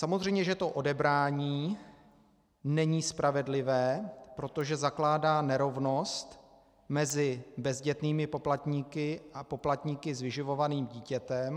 Samozřejmě že to odebrání není spravedlivé, protože zakládá nerovnost mezi bezdětnými poplatníky a poplatníky s vyživovaným dítětem.